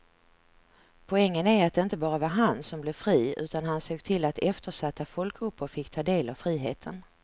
Poängen är att det inte bara var han som blev fri utan han såg till att eftersatta folkgrupper fick ta del av friheten.